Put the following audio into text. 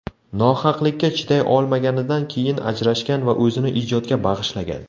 Nohaqlikka chiday olmaganidan keyin ajrashgan va o‘zini ijodga bag‘ishlagan.